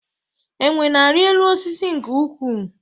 Enwe na-arị elu osisi nke ukwuu